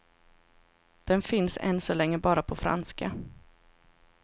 Den finns än så länge bara på franska.